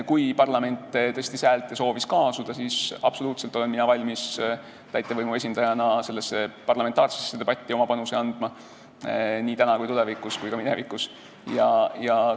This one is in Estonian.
Kuna parlament tõstis häält ja soovis kaasuda, siis ütlen, et mina olen täitevvõimu esindajana absoluutselt valmis sellesse parlamentaarsesse debatti oma panuse andma nii täna kui ka tulevikus ning olin valmis ka minevikus.